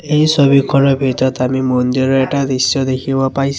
এই ছবিখনৰ ভিতৰত আমি মন্দিৰৰ এটা দৃশ্য দেখিব পাইছোঁ।